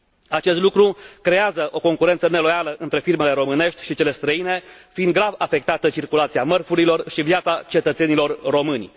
Acest lucru creează o concurență neloială între firmele românești și cele străine, fiind grav afectată circulația mărfurilor și viața cetățenilor români.